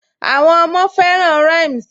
Àwọn ọmọ fẹràn rhymes